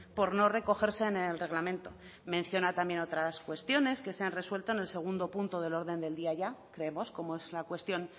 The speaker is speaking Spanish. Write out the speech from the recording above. por no recogerse en el reglamento menciona también otras cuestiones que se han resuelto en el segundo punto del orden del día ya creemos como es la cuestión